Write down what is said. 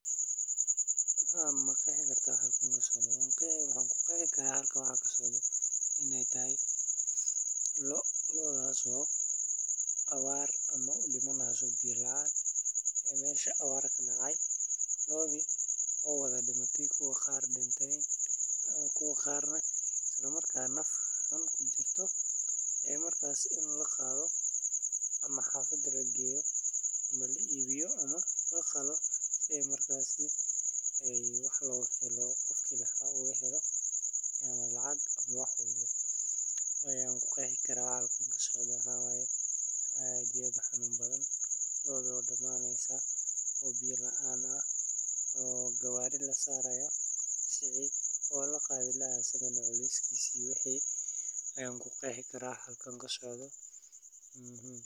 Maxan ku qexi karaa halkan waxa kasocdo iney tahay lo, lodas oo abaar. Abaartu waa musiibo dabiici ah oo dhacda marka roobka yaraado muddo dheer, taasoo keenta in dhulku qallalo, biyihii yaraadaan, iyo dhirta iyo xooluhuba ay badiyaan. Marka abaartu ay noqoto mid daran, dadka iyo xoolahuba waxay wajahaan nolol adag, biyo la'aan, cunto yari, iyo nafaqo darro. Carruurta, hooyooyinka uurka leh, iyo dadka da’da ah ayaa ah kuwa ugu nugul abaarta. Waxaa yaraada wax-soosaarka beeraleyda, xoolo dhaqatu way waayaan daaq iyo biyo, taasoo keenta dhimasho iyo barakac.